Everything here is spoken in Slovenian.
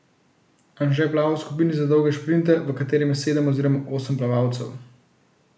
Anže plava v skupini za dolge šprinte, v kateri je sedem oziroma osem plavalcev.